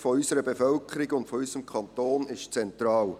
Die Sicherheit unserer Bevölkerung und unseres Kantons ist zentral.